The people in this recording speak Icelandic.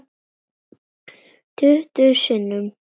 Tuttugu sinnum.